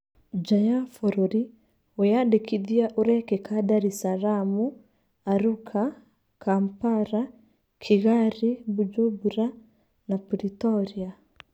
Nja ya bũrũri, wĩyandĩkithĩa ũrekĩka Daresaramu, Aruca, Kampara, Kĩgari Mbunjumbura na pritorĩa.